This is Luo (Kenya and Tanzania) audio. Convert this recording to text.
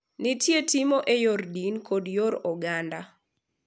Nitie timo e yor din kod yor oganda.